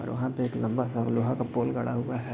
और वहां पे एक लम्बा-सा लोहे का पोल गड़ा हुआ है।